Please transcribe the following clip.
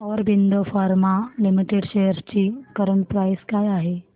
Aurobindo pharma limited shares ची current price काय आहे